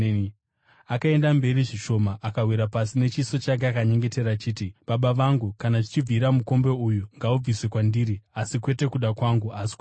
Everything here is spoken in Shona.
Akaenda mberi zvishoma, akawira pasi nechiso chake akanyengetera achiti, “Baba vangu, kana zvichibvira mukombe uyu ngaubviswe kwandiri. Asi kwete kuda kwangu asi kuda kwenyu.”